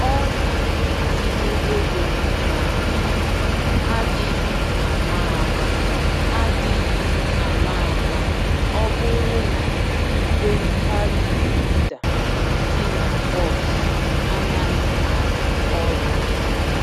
Ọ na-etinye égo n'akpa adịghị àmà-àmà adịghị àmà-àmà ọbụrụ na ìgwè card reader dị na bọs anaghị arụ ọrụ